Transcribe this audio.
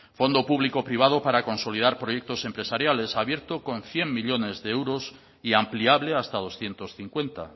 fondo público privado para consolidar proyectos empresariales abierto con cien millónes de euros y ampliable hasta doscientos cincuenta